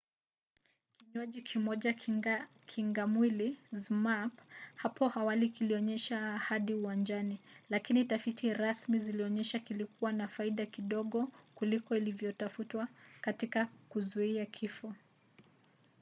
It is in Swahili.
kinywaji kimoja cha kingamwili zmapp hapo awali kilionyesha ahadi uwanjani lakini tafiti rasmi zilionyesha kilikuwa na faida kidogo kuliko ilivyotafutwa katika kuzuia kifo